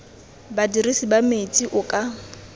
badirisi ba metsi o ka